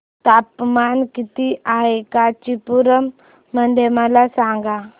तापमान किती आहे कांचीपुरम मध्ये मला सांगा